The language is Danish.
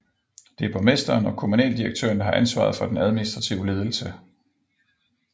Det er borgmesteren og kommunaldirektøren har ansvaret for den administrative ledelse